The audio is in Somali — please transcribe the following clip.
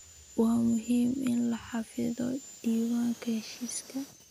Waa muhiim in la xafido diiwaanka heshiiska.